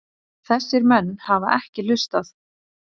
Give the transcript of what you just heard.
Þessir menn hafa ekki hlustað.